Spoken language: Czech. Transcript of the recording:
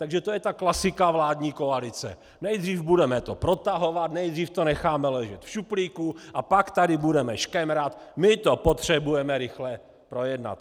Takže to je ta klasika vládní koalice: nejdřív to budeme protahovat, nejdřív to necháme ležet v šuplíku, a pak tady budeme škemrat: my to potřebujeme rychle projednat.